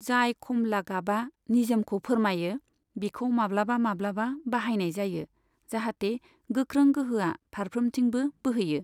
जाय खमला गाबआ निजोमखौ फोरमायो बिखौ माब्लाबा माब्लाबा बाहायनाय जायो जाहाथे गोख्रों गोहोआ फारफ्रोमथिंबो बोहैयो।